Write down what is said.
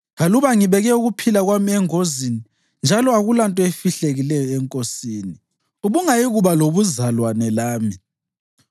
Aluba ngibeke ukuphila kwami engozini njalo akulanto efihlakeleyo enkosini, ubungayikuba lobuzalwane lami.”